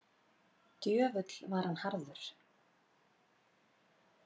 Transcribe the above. Djöfull var hann harður.